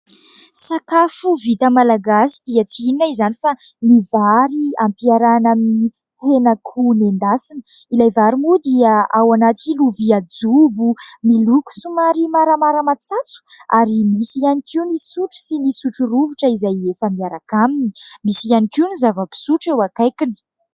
Sakafo vita malagasy dia tsy inona izany fa ny vary ampiarahana amin'ny henan'akoho noendasina. Ilay vary moa dia ao anaty lovia jobo miloko somary maramara matsatso ary misy ihany koa ny sotro sy ny sotro rovitra izay efa miaraka aminy, misy ihany koa ny zava-pisotro eo akaikiny.